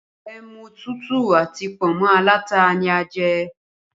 Ẹmu tútù àti pọ̀nmọ́ alata ni a jẹ